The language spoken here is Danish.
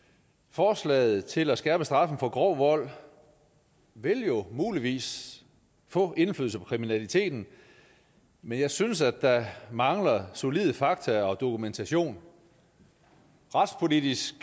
forslaget til at skærpe straffen for grov vold vil jo muligvis få indflydelse på kriminaliteten men jeg synes at der mangler solide fakta og dokumentation retspolitisk